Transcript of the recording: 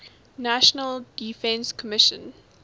national defense commission